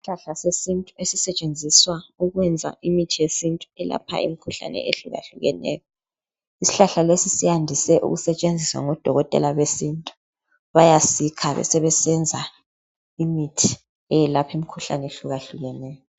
Isihlahla sesintu esitshenziswa ukwelapha imikhuhlane ehlukeneyo, sisebenza ngendlela ehlukahlukenyo ukwelapha izigulane nxa bengezwa kuhle.